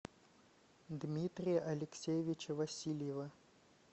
дмитрия алексеевича васильева